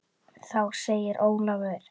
Þá segir Ólafur